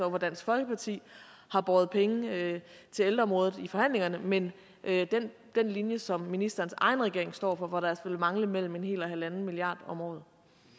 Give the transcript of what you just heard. hvor dansk folkeparti har båret penge til ældreområdet i forhandlingerne men den linje som ministerens egen regering står for hvor der altså vil mangle mellem en hel og halvanden milliard om året